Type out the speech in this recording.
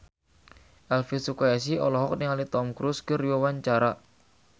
Elvy Sukaesih olohok ningali Tom Cruise keur diwawancara